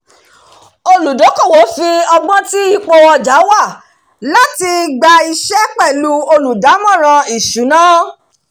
olùdókòwò fi ọgbọ́n lo ipò tí ọjà wà láti gba iṣẹ́ pẹ̀lú olùdámọ̀ràn ìṣúná